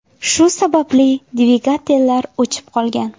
Shu sababli dvigatellar o‘chib qolgan.